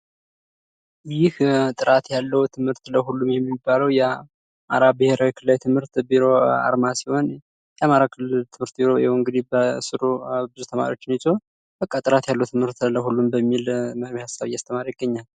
ይህ ጥራት ያለው ትምህርት ለሁሉም የሚባለው የአማራ ብሄራዊ ክልላዊ ትምህርት ቢሮ አርማ ሲሆን የአማራ ክልል ትምህርት ቢሮ ይኸው እንግዲህ በስሩ ብዙ ተማሪዎችን ይዞ በቃ ጥራት ያለው ትምህርት ለሁሉም በሚል ሀሳብ እያስተማረ ይገኛል ።